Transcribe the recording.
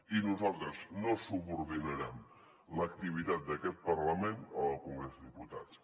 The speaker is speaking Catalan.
i nosaltres no subordinarem l’activitat d’aquest parlament a la del congrés de diputats